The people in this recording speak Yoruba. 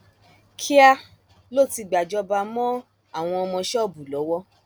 kíá ló ti gbàjọba mọ àwọn ọmọ ṣọọbù lọwọ